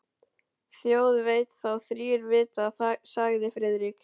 Þjóð veit þá þrír vita sagði Friðrik.